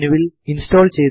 terminal ലിലേക്ക് പോകുക